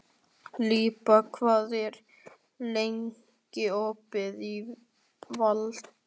Líba, hvað er lengi opið í Valdís?